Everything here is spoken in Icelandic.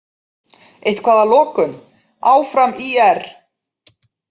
Eitthvað að lokum: Áfram ÍR!!